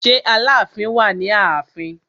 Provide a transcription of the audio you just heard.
Ṣé Aláàfin wà ní ààfin?